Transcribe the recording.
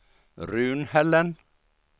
Runhällen